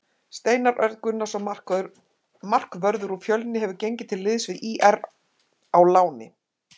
Steinar Örn Gunnarsson markvörður úr Fjölni hefur gengið til liðs við ÍR á láni.